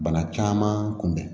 Bana caman kun bɛn